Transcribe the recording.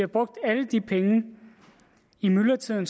brugt alle de penge i myldretiden